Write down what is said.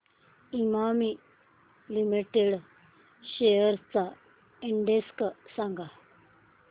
Emami limited shares चा index सांगा